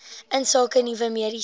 insake nuwe mediese